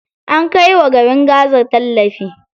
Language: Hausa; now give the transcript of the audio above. Ana kai wa garin gaza tallafi.